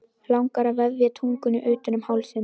Langar að vefja tungunni utan um hálsinn.